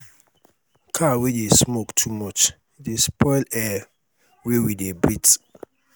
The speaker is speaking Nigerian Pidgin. car wey dey smoke too much dey spoil air wey we dey breathe.